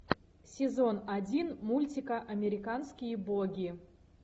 сезон один мультика американские боги